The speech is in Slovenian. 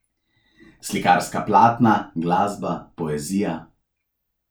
Slikarska platna, glasba, poezija ...